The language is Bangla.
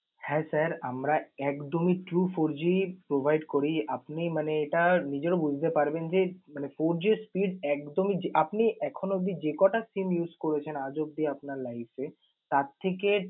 হ্যাঁ sir আমরা একদমই true four g provide করি। আপনি মানে এটা নিজেও বুঝতে পারবেন যে মানে four g র speed একদমই আপনি এখনো অবধি যে কটা SIM use করেছেন আজ অবধি আপনার life এ তার থেকে